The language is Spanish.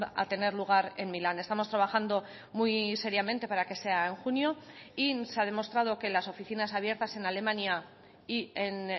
a tener lugar en milán estamos trabajando muy seriamente para que sea en junio y se ha demostrado que las oficinas abiertas en alemania y en